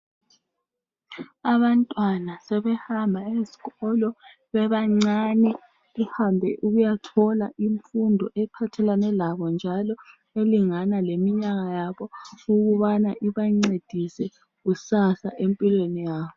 Abantwana sebehamba ezikolo bebancane. Behambe ukuyathola imfundo ephathelane labo njalo elingana leminyaka yabo ukubana ubancedise empilweni yabo.